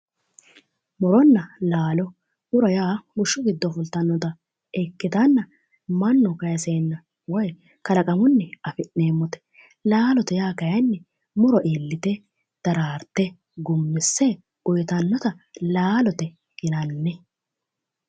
Muronna laalo muro yaa bushshu giddo fultannota ikkitanna mannu kayiseenna woyi kalaqamunni afi'neemote laalote yaa kayiinni muro iillite daraarte gummisse uyitannota laalote yinanni